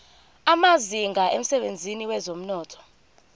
amazinga emsebenzini wezomnotho